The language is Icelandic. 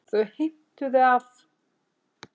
Þau heimtuðu að